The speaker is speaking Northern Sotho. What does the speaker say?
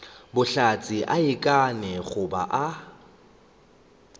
bohlatse a ikanne goba a